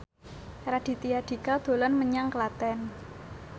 Raditya Dika dolan menyang Klaten